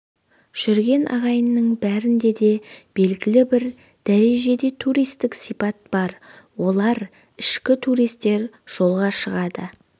жүрген ағайынның бәрінде де белгілі бір дәрежеде туристік сипат бар олар ішкі туристер жолға шығады